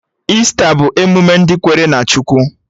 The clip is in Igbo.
Ista bụ emụme ndị kwere na Chukwu